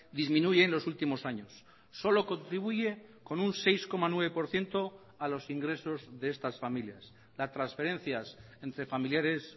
disminuye en los últimos años solo contribuye con un seis coma nueve por ciento a los ingresos de estas familias las transferencias entre familiares